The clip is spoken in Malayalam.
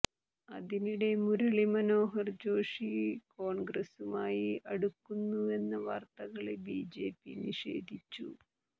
അതിനിടെ മുരളി മനോഹര് ജോഷി കോണ്ഗ്രസുമായി അടുക്കുന്നുവെന്ന വാര്ത്തകള് ബിജെപി നിഷേധിച്ചു